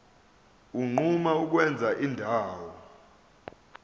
unquma ukwenza indawo